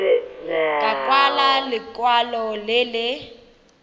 ka kwala lekwalo le le